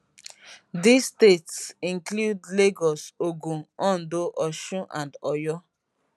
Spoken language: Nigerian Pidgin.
dis statesinclude lagos ogun ondo osun and oyo